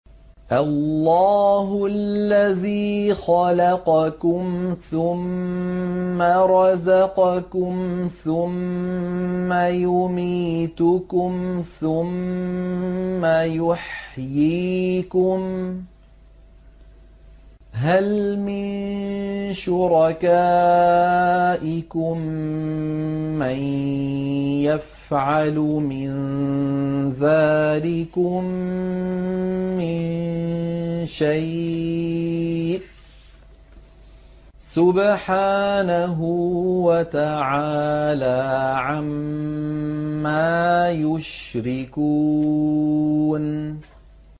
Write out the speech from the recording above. اللَّهُ الَّذِي خَلَقَكُمْ ثُمَّ رَزَقَكُمْ ثُمَّ يُمِيتُكُمْ ثُمَّ يُحْيِيكُمْ ۖ هَلْ مِن شُرَكَائِكُم مَّن يَفْعَلُ مِن ذَٰلِكُم مِّن شَيْءٍ ۚ سُبْحَانَهُ وَتَعَالَىٰ عَمَّا يُشْرِكُونَ